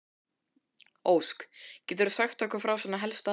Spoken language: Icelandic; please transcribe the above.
Ósk, geturðu sagt okkur frá svona helstu atriðum?